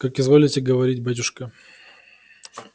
как изволите говорить батюшка